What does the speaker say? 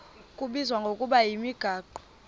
kubizwa ngokuba yimigaqo